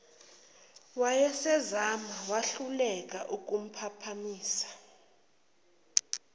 wayesezame wahluleka ukuphaphamisa